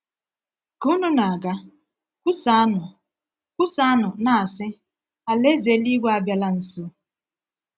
Ka unu na-aga, kwusaanụ, kwusaanụ, na-asị, ‘Alaeze eluigwe abịala nso.’